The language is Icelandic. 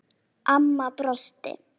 Amma brosti.